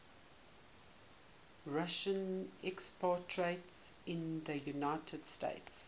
russian expatriates in the united states